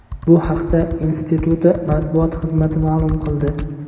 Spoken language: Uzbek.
Bu haqda instituti matbuot xizmati ma’lum qildi.